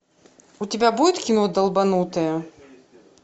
у тебя будет кино долбанутые